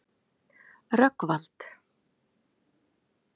Rögnvald